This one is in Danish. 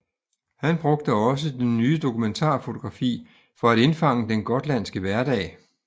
Han brugte også det nye dokumentarfotografi for at indfange den gotlandske hverdag